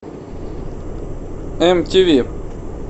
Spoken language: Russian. эм ти ви